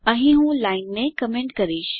અહીં હું લાઈનને કમેન્ટ કરીશ